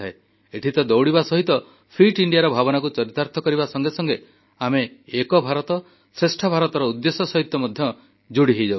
ଏଠି ତ ଦଉଡ଼ିବା ସହିତ ଫିଟ ଇଣ୍ଡିଆର ଭାବନାକୁ ଚରିତାର୍ଥ କରିବା ସଂଗେ ସଂଗେ ଆମେ ଏକ ଭାରତ ଶ୍ରେଷ୍ଠ ଭାରତର ଉଦ୍ଦେଶ୍ୟ ନେଇ ମଧ୍ୟ ଯୋଡ଼ି ହୋଇଯାଉଛୁ